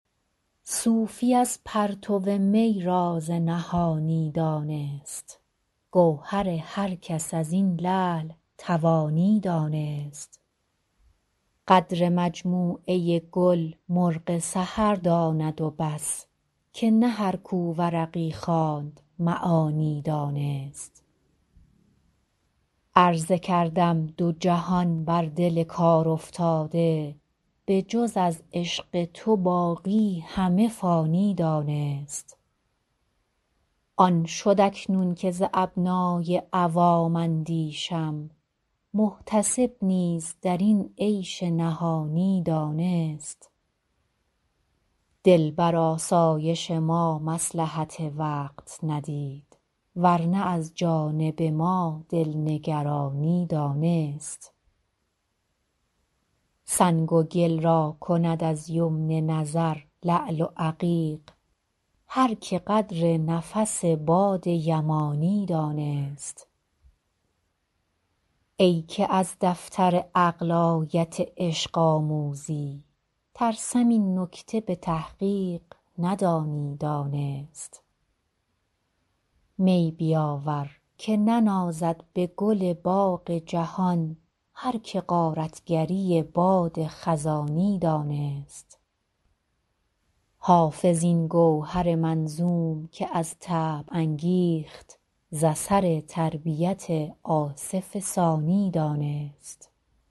صوفی از پرتو می راز نهانی دانست گوهر هر کس از این لعل توانی دانست قدر مجموعه گل مرغ سحر داند و بس که نه هر کو ورقی خواند معانی دانست عرضه کردم دو جهان بر دل کارافتاده به جز از عشق تو باقی همه فانی دانست آن شد اکنون که ز ابنای عوام اندیشم محتسب نیز در این عیش نهانی دانست دل بر آسایش ما مصلحت وقت ندید ور نه از جانب ما دل نگرانی دانست سنگ و گل را کند از یمن نظر لعل و عقیق هر که قدر نفس باد یمانی دانست ای که از دفتر عقل آیت عشق آموزی ترسم این نکته به تحقیق ندانی دانست می بیاور که ننازد به گل باغ جهان هر که غارت گری باد خزانی دانست حافظ این گوهر منظوم که از طبع انگیخت ز اثر تربیت آصف ثانی دانست